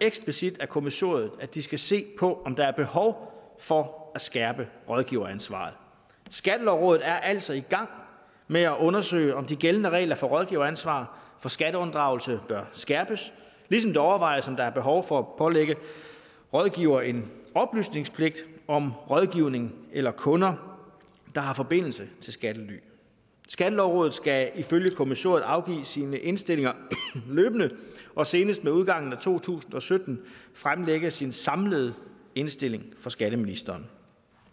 eksplicit af kommissoriet at de skal se på om der er behov for at skærpe rådgiveransvaret skattelovrådet er altså i gang med at undersøge om de gældende regler for rådgiveransvar for skatteunddragelse bør skærpes ligesom det overvejes om der er behov for at pålægge rådgivere en oplysningspligt om rådgivning eller kunder der har forbindelse til skattely skattelovrådet skal ifølge kommissoriet afgive sine indstillinger løbende og senest med udgangen af to tusind og sytten fremlægge sin samlede indstilling for skatteministeren